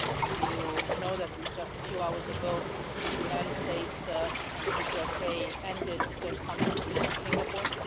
You know that just a few hours ago the United States and the DPRK ended their summit in Singapore.